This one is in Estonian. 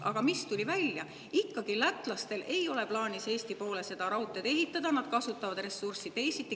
Aga mis tuli välja: lätlastel ikkagi ei ole plaanis Eesti poole raudteed ehitada, nad kasutavad ressurssi teisiti.